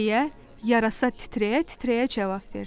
deyə yarasa titrəyə-titrəyə cavab verdi.